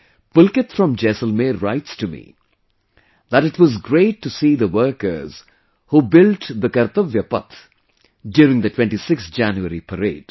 Pulkit from Jaisalmer writes to me that it was great to see the workers who built the Kartavya path during the 26thJanuary parade